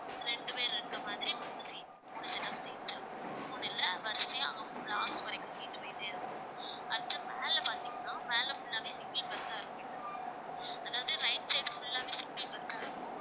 ரெண்டு பேர் இருக்கற மாதிரி மூணு seat மூணு set of seats இருக்கும். மூணு இல்லை வரிசையா last வரைக்கும் போயிட்டே இருக்கும் அடுத்து மேலே பார்த்தீங்கன்னா மேலே full ஆவே single berth ஆ இருக்கும் இந்தப் பக்கம் அதாவது right side full ஆவே single berth இருக்கும்